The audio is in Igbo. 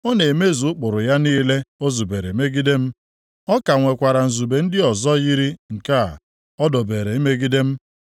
Ọ na-emezu ụkpụrụ ya niile o zubere megide m, ọ ka nwekwara nzube ndị ọzọ yiri nke a o dobere imegide m.